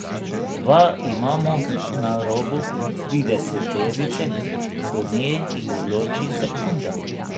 Dva imamo na robu trideseterice, do nje ju loči sekunda.